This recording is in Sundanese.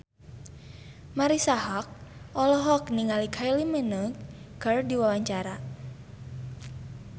Marisa Haque olohok ningali Kylie Minogue keur diwawancara